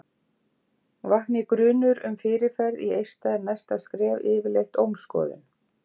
Vakni grunur um fyrirferð í eista er næsta skref yfirleitt ómskoðun.